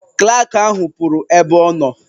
Klak ahụ pụrụ ebe ọ nọ.